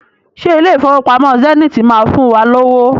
Ṣé ilé Ìfowópamọ́ Zenith máa fún wa lówó?